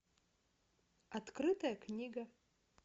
открытая книга